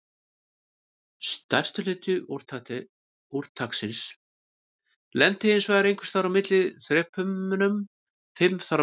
Stærstur hluti úrtaksins lenti hinsvegar einhvers staðar á þrepunum fimm þar á milli.